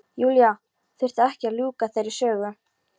Júlía þurfti ekki að ljúka þeirri sögu.